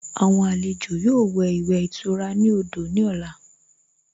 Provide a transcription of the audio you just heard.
Àwọn àlejò yóò wẹ̀ ìwẹ̀ ìtura ní odò ní ọ̀la